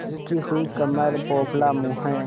झुकी हुई कमर पोपला मुँह